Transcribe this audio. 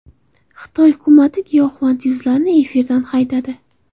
Xitoy hukumati giyohvand yulduzlarni efirdan haydadi.